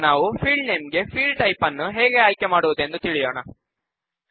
ಈಗ ನಾವು field name ಗೆ ಫೀಲ್ಡ್ ಟೈಪ್ ನ್ನು ಹೇಗೆ ಆಯ್ಕೆ ಮಾಡುವುದು ಎಂದು ತಿಳಿಯೋಣ